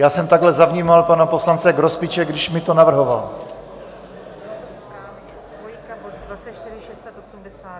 Já jsem takhle zavnímal pana poslance Grospiče, když mi to navrhoval...